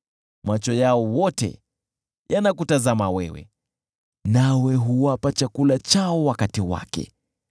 Macho yao wote yanakutazama wewe, nawe huwapa chakula chao wakati wake.